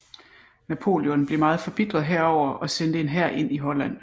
Napoleon blev meget forbitret herover og sendte en hær ind i Holland